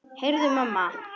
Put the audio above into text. Heyrðu mamma!